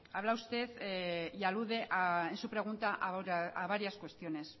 habla usted y alude en su pregunta a varias cuestiones